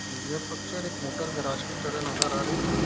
यह पिक्चर एक motor garage की तरह नजर आ रही है।